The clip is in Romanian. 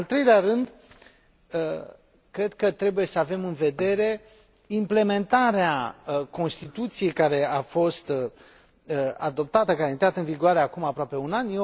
În al treilea rând, cred că trebuie să avem în vedere implementarea Constituției care a fost adoptată, care a intrat în vigoare acum aproape un an.